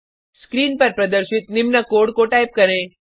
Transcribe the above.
screen पर प्रदर्शित निम्न कोड को टाइप करें